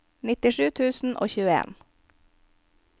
nittisju tusen og tjueen